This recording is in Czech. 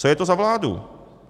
Co je to za vládu?